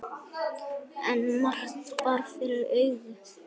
En margt bar fyrir augu.